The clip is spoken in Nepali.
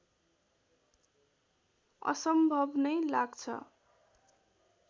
असम्भव नै लाग्छ